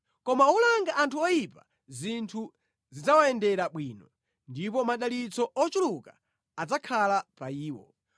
Koma olanga anthu oyipa zinthu zidzawayendera bwino ndipo madalitso ochuluka adzakhala pa iwo.